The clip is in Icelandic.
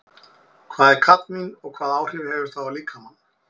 Hvað er kadmín og hvaða áhrif hefur það á líkamann?